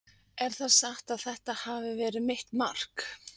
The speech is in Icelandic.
Er það satt að þetta hafi verið mitt mark?